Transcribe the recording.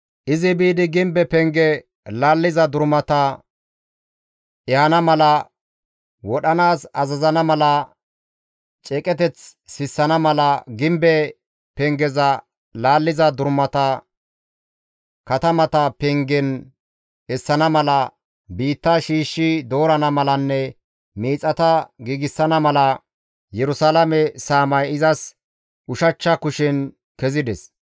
Izi biidi gimbe penge laalliza durumata ehana mala, wodhanaas azazana mala, ceeqeteth sissana mala, gimbe pengeza laalliza durumata katamata pengen essana mala, biitta shiishshi doorana malanne miixata giigsana mala Yerusalaame saamay izas ushachcha kushen kezides.